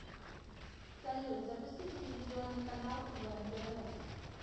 салют запусти телевизионный канал квн тв